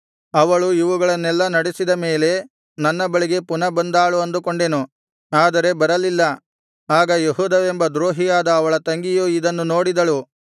ಅವಳು ಇವುಗಳನ್ನೆಲ್ಲಾ ನಡೆಸಿದ ಮೇಲೆ ನನ್ನ ಬಳಿಗೆ ಪುನಃ ಬಂದಾಳು ಅಂದುಕೊಂಡೆನು ಆದರೆ ಬರಲಿಲ್ಲ ಆಗ ಯೆಹೂದವೆಂಬ ದ್ರೋಹಿಯಾದ ಅವಳ ತಂಗಿಯು ಇದನ್ನು ನೋಡಿದಳು